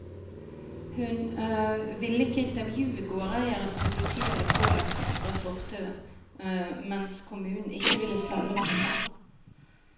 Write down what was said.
Hun ville ikke intervjue gårdeiere som politiet hadde pålagt å strø fortauet, mens kommunen ikke ville selge dem sand.